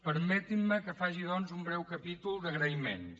permetin me que faci doncs un breu capítol d’agraïments